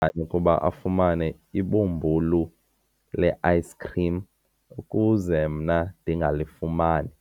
ngani ukuba afumane ibhumbulu le-ayisikhrim ukuze mna ndingalifumani?